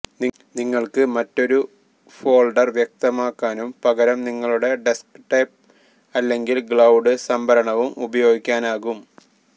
നിങ്ങൾക്ക് മറ്റൊരു ഫോൾഡർ വ്യക്തമാക്കാനും പകരം നിങ്ങളുടെ ഡെസ്ക്ടോപ്പ് അല്ലെങ്കിൽ ക്ലൌഡ് സംഭരണവും ഉപയോഗിക്കാനാകും